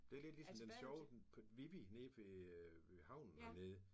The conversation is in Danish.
Det lidt ligesom den sjove den på Vivi nede ved havnen hernede